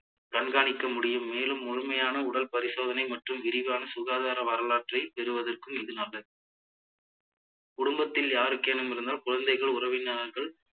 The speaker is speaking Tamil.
கண்காணிக்க முடியும் மேலும் முழுமையான உடல் பரிசோதனை மற்றும் விரைவான சுகாதார வரலாற்றை பெறுவதற்கும் இது நல்லது குடும்பத்தில் யாருக்கேனும் இருந்தால் குழந்தைகள் உறவினர்கள்